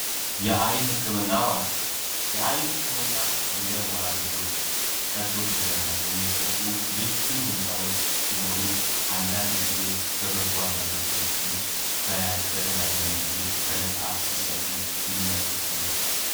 የአይን ህክምና ማእከል የአይን ህክምና እንደ ሞራ ግርዶሽ ቀዶ ጥገና የሚሰጡ ልዩ ህንጻዎች ሲሆኑ አንዳንድ ጊዜ በጎ አድራጎት ድርጅቶች በተደጋጋሚ ጊዜ በነፃ ሲሰጡ እንመለከታለን።